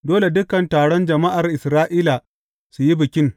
Dole dukan taron jama’ar Isra’ila su yi bikin.